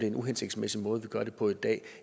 en uhensigtsmæssig måde vi gør det på i dag